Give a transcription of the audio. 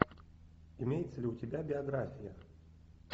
имеется ли у тебя биография